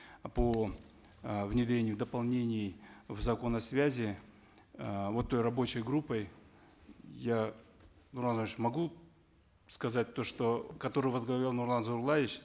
по э внедрению дополнений в закон о связи э вот той рабочей группой я нурлан могу сказать то что которую возглавлял нурлан зайроллаевич